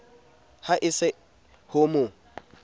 ha e se ho mo